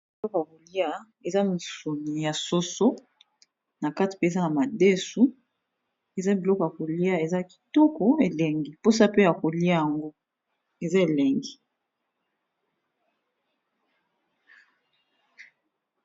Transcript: Biloko ya kolia eza misuni ya soso, na kati pe eza na madesu, eza biloko ya kolia eza kitoko elengi mposa pe ya kolia yango eza elengi.